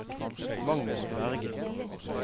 Magnus Berge